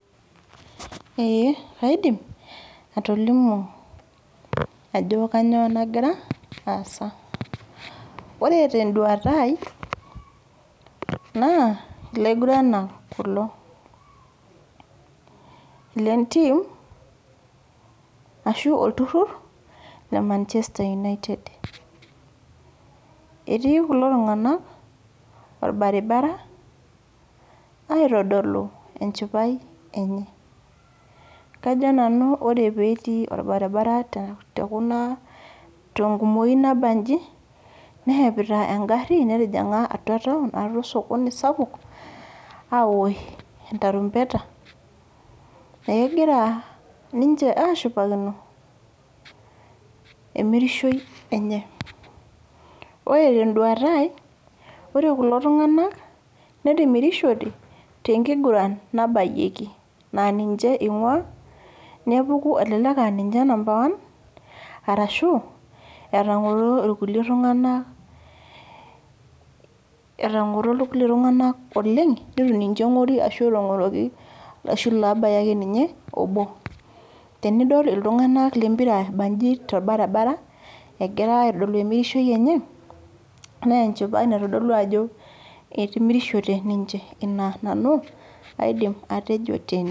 Ee kaidim, atolimu ajo kanyioo nagira, aasa. Ore teduata ai, naa ilaiguranak kulo. Lentim, ashu olturrur le Manchester United. Etii kulo tung'anak, orbaribara aitodolu enchipai enye. Kajo nanu ore petii orbaribara tekuna tenkumoyu nabaji, neshepita egarri, netijing'a atua taon, atua osokoni sapuk, awosh entarumbeta, egira ninche ashipakino, emirishoi enye. Ore teduata ai, ore kulo tung'anak, netimirishote, tenkiguran nabayieki. Na ninche ing'ua, nepuku elelek ah ninche number one, arashu, etang'oro irkulie tung'anak etang'oro irkulie tung'anak oleng, nitu ninche eng'ori ashu netang'oroki ashu lobaya ake ninye obo. Tenidol iltung'anak lempira ebaji torbaribara, egira aitodolu emirishoi enye, nenchipai naitodolu ajo etimirishote ninche. Ina nanu, aidim atejo tene.